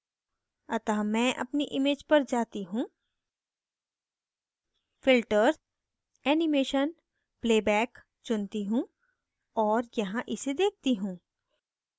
अतः मैं अपनी image पर जाती हूँ filter animation playback चुनती हूँ और यहाँ इसे देखती हूँ